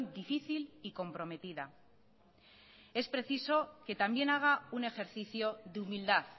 difícil y comprometida es preciso que también haga un ejercicio de humildad